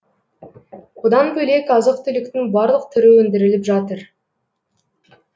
одан бөлек азық түліктің барлық түрі өндіріліп жатыр